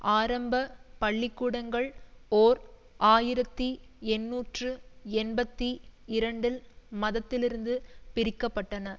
ஆரம்ப பள்ளி கூடங்கள் ஓர் ஆயிரத்தி எண்ணூற்று எண்பத்தி இரண்டில் மதத்திலிருந்து பிரிக்கப்பட்டன